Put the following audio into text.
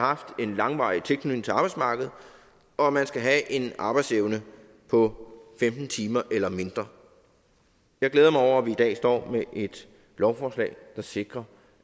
haft en langvarig tilknytning til arbejdsmarkedet og man skal have en arbejdsevne på femten timer eller mindre jeg glæder mig over at vi i dag står med et lovforslag der sikrer